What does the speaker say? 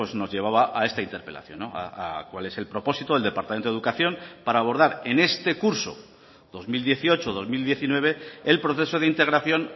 nos llevaba a esta interpelación a cual es el propósito del departamento de educación para abordar en este curso dos mil dieciocho dos mil diecinueve el proceso de integración